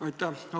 Aitäh!